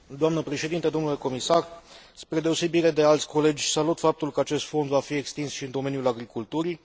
Spre deosebire de alți colegi, salut faptul că acest fond va fi extins și în domeniul agriculturii.